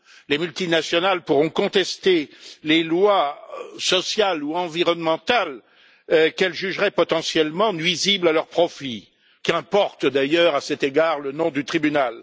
Les multinationales pourront contester les lois sociales ou environnementales qu'elles jugeraient potentiellement nuisibles à leur profit qu'importe d'ailleurs, à cet égard, le nom du tribunal.